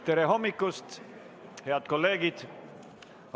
Tere hommikust, head kolleegid!